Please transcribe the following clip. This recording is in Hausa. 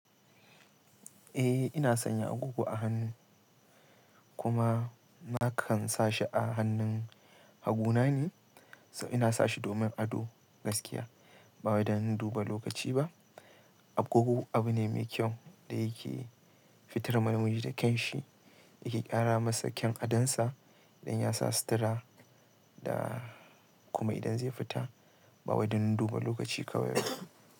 Eh ina sanya agogo a hannu kuma nakan sa shi a hannun hagu na ne, so ina sa shi domin ado gaskiya ba wai da duba lokaci ba. Agogo abu ne mai kyau da yake fitar ma namuji da kyan shi, yake ƙara masa kyan adon sa idan yasa sutura da kuma idan zai fita ba wai dan duba lokaci kawai.